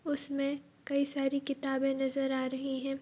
उसमें कई सारी किताबें नज़र आ रही है।